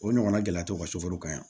O ɲɔgɔnna gɛlɛya tɔw ka sukaro kan yan